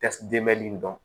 dɔn dɔn